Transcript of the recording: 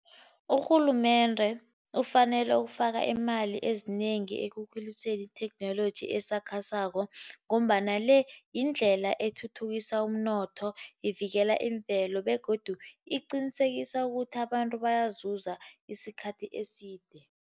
Urhulumende ufanele ukufaka iimali ezinengi ekukhuliseni itheknoloji esakhasako, ngombana le yindlela ethuthukisa umnotho, ivikela imvelo, begodu iqinisekisa ukuthi abantu bayazuza isikhathi eside.